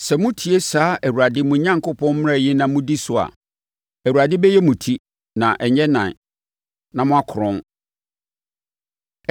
Sɛ motie saa Awurade, mo Onyankopɔn, mmara yi na modi so a, Awurade bɛyɛ mo ti na ɛnyɛ nan, na moakorɔn.